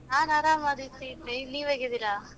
ನಾನು ಆರಾಮಾ ದೀಪ್ತಿ, ನೀವು ಹೇಗಿದ್ದೀರಾ?